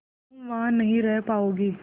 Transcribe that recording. तुम वहां नहीं रह पाओगी